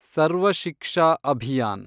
Sarva Shiksha Abhiyan